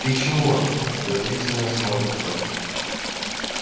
ты чего подозрительно смотрит он